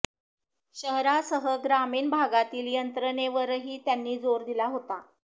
शहरासह ग्रामीण भागातील यंत्रणेवरही त्यांनी जोर दिला होता